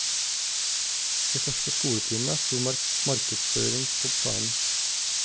I første skoletime sto markedsføring på planen.